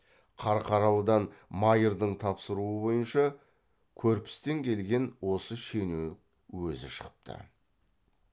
қарқаралыдағы майырдың тапсыруы бойынша көрпістен келген осы шенеу өзі шығыпты